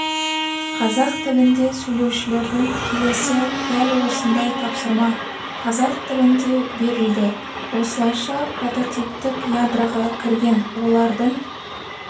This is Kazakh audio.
қазақ тілінде сөйлеушілердің келесі дәл осындай тапсырма қазақ тілінде берілді осылайша прототиптік ядроға кірген олардың